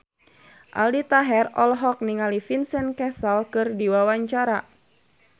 Aldi Taher olohok ningali Vincent Cassel keur diwawancara